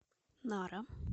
нара